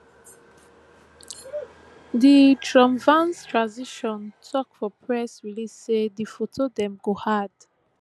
di trumpvance transition tok for press release say di foto dem go hard